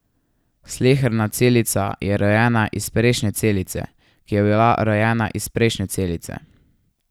Sleherna celica je rojena iz prejšnje celice, ki je bila rojena iz prejšnje celice.